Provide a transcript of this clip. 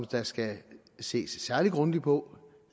der skal ses særlig grundigt på